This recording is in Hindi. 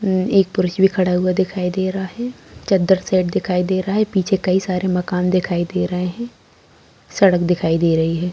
एक पुरुष भी खड़ा हुआ दिखाई दे रहा है चद्दर सेट दिखाई दे रहा है पीछे कई सारे मकान दिखाई दे रहे हैं सड़क दिखाई दे रही है।